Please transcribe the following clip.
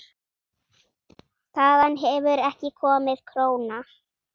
Þaðan hefur ekki komið króna.